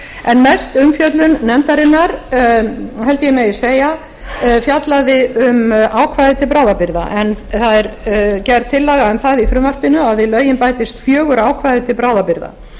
en mest umfjöllun nefndarinnar held ég að megi segja fjallaði um ákvæði til bráðabirgða en það er gerð tillaga um það í frumvarpinu að við lögin bætist fjögur ákvæði til bráðabirgða